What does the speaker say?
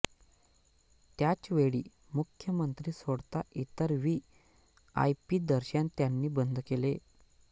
त्याचवेळी मुख्यमंत्री सोडता इतर व्ही आय पी दर्शन त्यांनी बंद केले